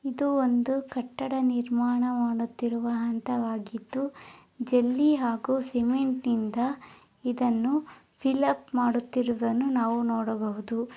ಇದು ಒಂದು ಕಟ್ಟಡ ನೀರ್ಮಾಣ ಮಾಡುತ್ತಿರುವ ಹಂತವಾಗಿದ್ದು ಜೆಲ್ಲಿ ಹಾಗು ಸೆಂಮೆಂಟ್ ನಿಂದ ಇದನ್ನು ಫೈಲ್ ಅಪ್ ಮಾಡುತ್ತಿರುವುದನ್ನು ನಾವು ನೋಡಬಹುದು.